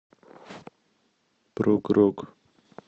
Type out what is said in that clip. прог рок